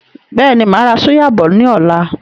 Bẹ́ẹ̀ni, máa ra súyà bọ̀ ni ọ̀la.